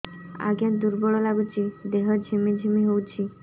ଆଜ୍ଞା ଦୁର୍ବଳ ଲାଗୁଚି ଦେହ ଝିମଝିମ ହଉଛି